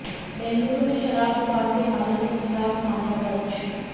बेंगलुरू में शराब दुकान के मालिक के खिलाफ मामला दर्ज